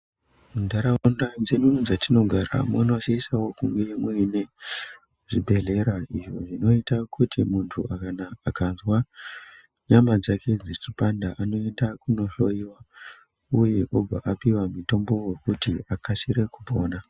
Munharaunda mwedu mwatinogara munosise kungewo muine zvibhedhlera. Izvo zvinoita kuti kana muntu ukazwa nyama dzake dzechipanda unoenda kundohloiwa. Uye obva apiwa mitombo wekuti akasike kupona.